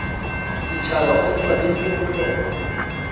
setšhaba o swanetše go hloma